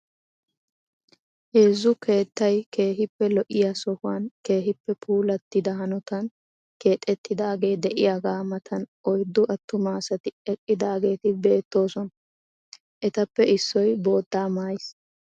Heezzu keettay keehippe lo'iya sohuwan keehippe puulattida hanotan keexettidaagee de'iyagaa matan oyddu attuma asati eqidaageeti beettoosona. Etappe issoy boottaa maayiis.